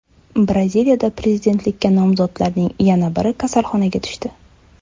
Braziliyada prezidentlikka nomzodlarning yana biri kasalxonaga tushdi.